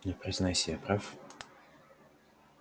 ну признавайся я прав